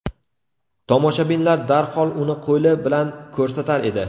Tomoshabinlar darhol uni qo‘li bilan ko‘rsatar edi.